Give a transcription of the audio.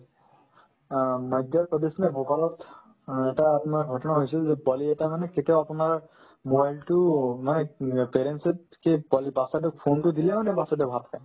অ, ভূপালত অ এটা আপোনাৰ ঘটনা হৈছিল যে পোৱালি এটাই মানে কেতিয়াও আপোনাৰ mobile তো মানে উম parents তকে পোৱালি batches তোক phone তো দিলেও তেওঁৰ batches তোয়ে ভাত খায়